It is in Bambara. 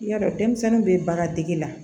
Yarɔ denmisɛnnin bɛ baara dege la